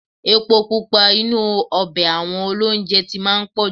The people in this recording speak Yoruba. Epo pupa inú ọbẹ̀ àwọn ilé-olóunjẹ ti máa ń pọ̀ jù.